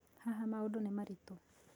Haha maũndũ nĩ maritũ